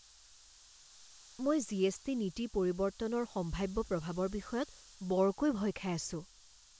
মই জিএছটি নীতি পৰিৱৰ্তনৰ সম্ভাৱ্য প্ৰভাৱৰ বিষয়ত বৰকৈ ভয় খাই আছো।